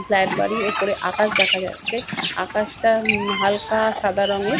Flat বাড়ি উপরে আকাশ দেখা যাচ্ছে আকাশটা উম হালকা-আ সাদা রংয়ের।